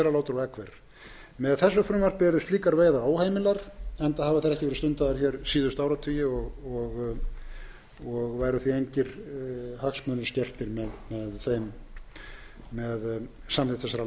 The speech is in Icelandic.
selalátur og eggver með þessu frumvarpi yrðu slíkar veiðar óheimilar enda hafa þær ekki verið stundaðar hér síðustu áratugi og væru því engir hagsmunir skertir með samþykkt þessara